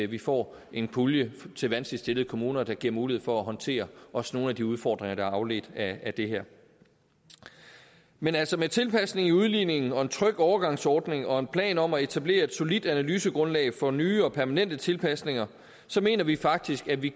vi får en pulje til vanskeligt stillede kommuner der giver mulighed for at håndtere også nogle af de udfordringer der er afledt af det her men altså med tilpasning i udligningen og en tryg overgangsordning og en plan om at etablere et solidt analysegrundlag for nye og permanente tilpasninger mener vi faktisk at vi